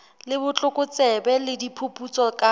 le botlokotsebe le diphuputso ka